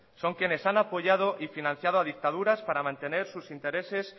son quienes han apoyado y financiado a dictaduras para mantener sus intereses